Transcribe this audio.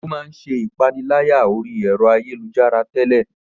Ó máa ń ṣe ìpaniláyà orí ẹ̀rọ ayélujára tẹ́lẹ̀